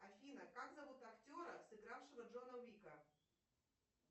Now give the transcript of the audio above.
афина как зовут актера сыгравшего джона уика